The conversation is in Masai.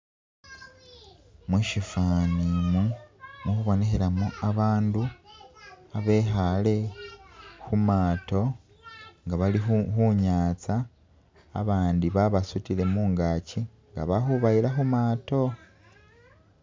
Mushifani umu, muli khubonekhelamo abandu abekhaale khumaato nga baali khunyaza abandi babasudile mungagi nga bali khubayila khumaato.